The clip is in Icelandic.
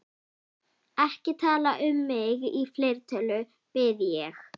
Ekki tala um mig í fleirtölu, bið ég.